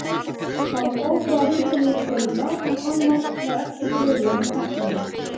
Það var ófrávíkjanleg skylda, en annars var ekki bruðlað með tæknina.